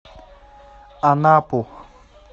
анапу